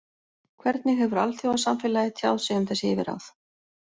Hvernig hefur alþjóðasamfélagið tjáð sig um þessi yfirráð?